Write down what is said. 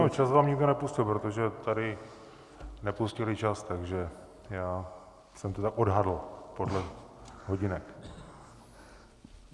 Ten čas vám nikdo nepustil, protože tady nepustili čas, takže já jsem to tak odhadl podle hodinek.